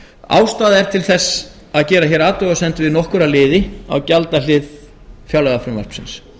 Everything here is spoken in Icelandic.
ástæða er til að gera hér athugasemdir við nokkra liði á gjaldahlið fjárlagafrumvarpsins